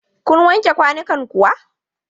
Kun wanke kwanukan kuwa?